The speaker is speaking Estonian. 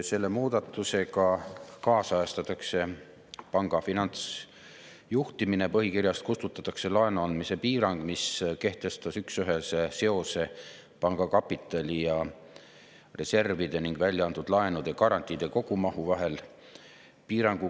Selle muudatusega kaasajastatakse panga finantsjuhtimine, põhikirjast kustutatakse laenu andmise piirang, mis kehtestas üksühese seose panga kapitali ja reservide ning väljaantud laenude garantiide kogumahu vahel.